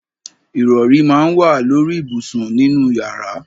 Ìrọrí máa ń wà lóri ìbùsùn nínú yàrá.